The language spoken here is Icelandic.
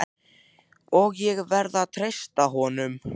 og ég verð að treysta honum.